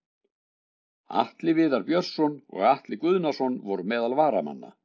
Atli Viðar Björnsson og Atli Guðnason voru meðal varamanna.